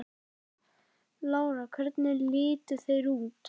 Lára: Hvernig litu þeir út?